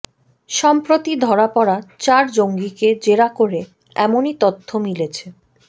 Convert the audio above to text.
সম্প্রতি ধরা পড়া চার জঙ্গিকে জেরা করে এমনই তথ্য মিলেছে